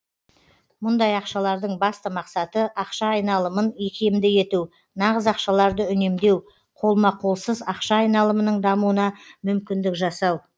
мұндай ақшалардың басты мақсаты ақша айналымын икемді ету нағыз ақшаларды үнемдеу қолма қолсыз ақша айналымының дамуына мүмкіндік жасау